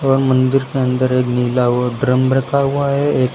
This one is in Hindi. और मंदिर के अंदर एक नीला हुआ ड्रम रखा हुआ है एक--